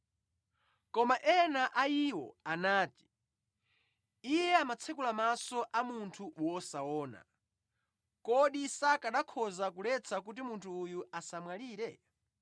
Koma ena a iwo anati, “Iye amatsekula maso a munthu wosaona, kodi sakanakhoza kuletsa kuti munthu uyu asamwalire?”